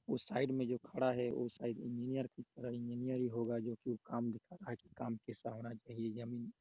वो साइड में जॉन खड़ा है उस साइड में इंजिनर की तरह इंजीनियर ही होगा जो की काम जोकि काम दिखा रहा है के--